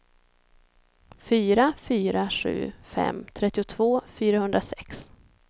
fyra fyra sju fem trettiotvå fyrahundrasex